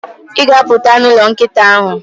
ị ga-apụt n'ụlọ nkịta ahụ.